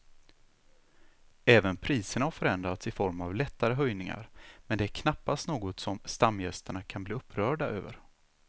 Även priserna har förändrats i form av lättare höjningar men det är knappast något som stamgästerna kan bli upprörda över.